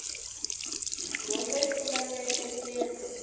dyondzo yi pfula mieheketo